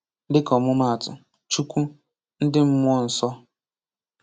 Dịka ọmụmaatụ: Chukwu, ndị mmụọ nsọ